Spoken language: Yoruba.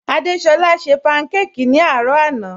Adésọla ṣẹ pankáki ni arọ̀ àná